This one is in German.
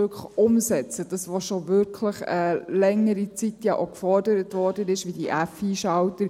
Druck auf, umzusetzen, was schon seit längerer Zeit gefordert wird, wie etwa die FI-Schalter.